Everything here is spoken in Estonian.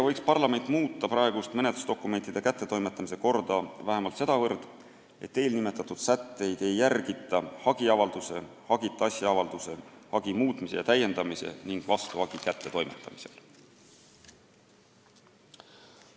Parlament võiks muuta praegust menetlusdokumentide kättetoimetamise korda niigi palju, et eelnimetatud sätteid ei järgita vähemalt hagiavalduse, hagita asja avalduse, hagi muutmise ja täiendamise ning vastuhagi kättetoimetamisel.